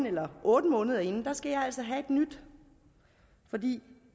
eller otte måneder inden skal jeg altså have et nyt fordi